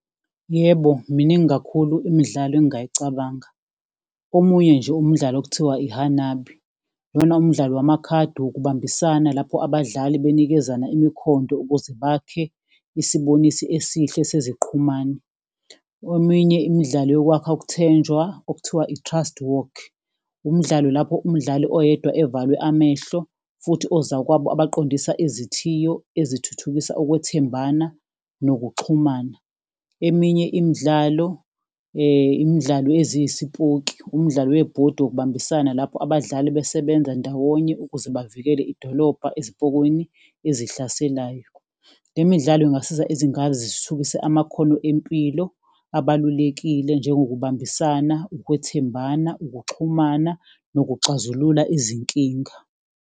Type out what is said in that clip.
Yebo, miningi kakhulu imidlalo engingayicabanga. Omunye nje umdlalo okuthiwa i-hanabi, lona umdlalo wamakhadi wokubambisana lapho abadlali banikezana imikhonto ukuze bakhe isibonisi esihle seziqhumane. Eminye imidlalo yokwakha ukuthenjwa okuthiwa i-trust walk, umdlalo lapho umdlali oyedwa evalwe amehlo, futhi ozakwabo abaqondisa izithiyo ezithuthukisa ukwethembana nokuxhumana. Eminye imidlalo, imidlalo eziyisipoki, umdlalo webhodi wokubambisana lapho abadlali besebenza ndawonye ukuze bavikele idolobha ezipokweni ezihlaselayo. Le midlalo ingasiza izingane zithuthukise amakhono empilo abalulekile, njengokubambisana, ukwethembana, ukuxhumana, nokuxazulula izinkinga.